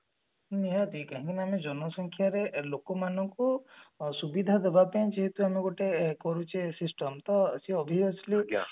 ନିହାତି କାହିଁକି ନା ଆମେ ଜନସଂଖ୍ୟାରେ ଲୋକ ମାନଙ୍କୁ ସୁବିଧା ଦେବା ପାଇଁ ଯେହେତୁ ଆମେ ଗୋଟେ କରୁଛେ system ତ ସେ obviously